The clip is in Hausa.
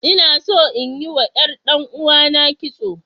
Ina so inyi wa ƴar ɗan'uwana kitso.